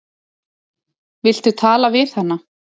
Viltu tala við hana?